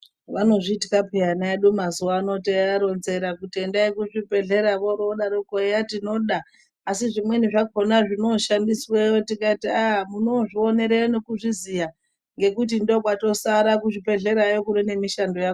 Vanozviita ana edu piya teivaronzera kuti endai kuzvibhedhlera vorodaroko eya tinoda asi zvimweni zvinoshandisweyo tikati haaa munondozvionereyo nekuziya nekuti ndokwatosara kuzvibhedhlerayo kuva nemishando.